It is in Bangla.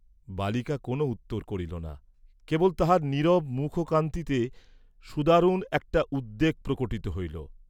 বালিকা কোন উত্তর করিল না, কেবল তাহার নীরব মুখকান্তিতে সুদারুণ একটা উদ্বেগ প্রকটিত হইল।